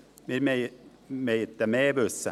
Wir möchten mehr wissen.